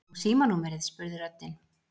Og símanúmerið? spurði röddin.